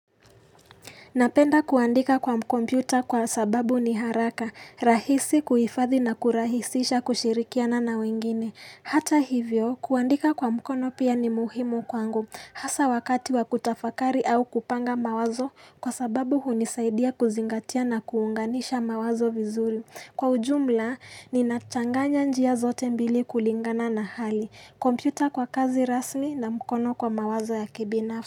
Napenda kuandika kwa kompyuta kwa sababu ni haraka, rahisi kuhifadhi na kurahisisha kushirikiana na wengine. Hata hivyo, kuandika kwa mkono pia ni muhimu kwangu. Hasa wakati wa kutafakari au kupanga mawazo kwa sababu hunisaidia kuzingatia na kuunganisha mawazo vizuri. Kwa ujumla, ninachanganya njia zote mbili kulingana na hali. Kompyuta kwa kazi rasmi na mkono kwa mawazo ya kibinafsi.